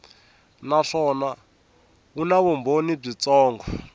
naswona wu na vumbhoni byitsongo